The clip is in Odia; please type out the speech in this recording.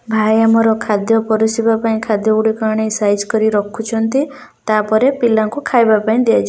ଭାଇ ଆମର ଖାଦ୍ୟ ପରଷିବା ପାଇଁ ଖାଦ୍ୟଗୁଡିକ ଆଣି ସାଇଜ କରି ରଖୁଛନ୍ତି ତାପରେ ପିଲାଙ୍କୁ ଖାଇବା ପାଇଁ ଦିଆଯିବ।